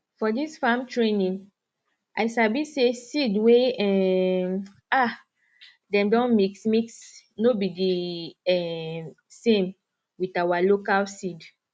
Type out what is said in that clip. for dis farm training i sabi say seed wey um um dem don mixmix no be di um same wit awa local seed